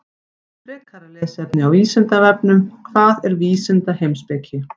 Frekara lesefni á Vísindavefnum: Hvað er vísindaheimspeki?